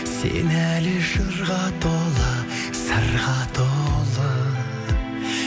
сен әлі жырға толы сырға толы